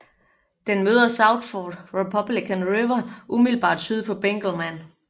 Den møder South Fork Republican River umiddelbart syd for Benkelman